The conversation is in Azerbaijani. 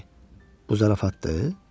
Bu zarafatdır?